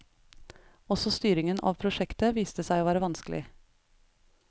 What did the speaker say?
Også styringen av prosjektet viste seg å være vanskelig.